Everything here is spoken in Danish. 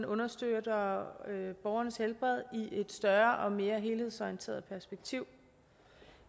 understøtter borgernes helbred i et større og mere helhedsorienteret perspektiv